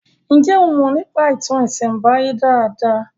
Njé o Mo nípa ìtàn isembaye dá dá?